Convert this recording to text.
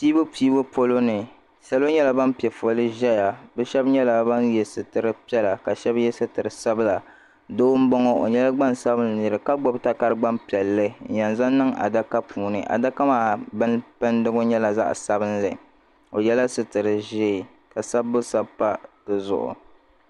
pɛbupɛbu poloni salo nyɛla an pɛƒɔli zaya be shɛba nyɛla ban yɛ sutɛripiɛlla ka shɛbi yɛ sutɛri sabila doo n bɔŋɔ o nyɛla gbansabilin nɛri ka gbabi takari gban piɛli n yan zaŋ niŋ adaka puuni adaka maa bɛnikumna nyɛla zaɣ sabilinli o yɛla sutɛri ʒiɛ ka sabu sabipa di zuɣ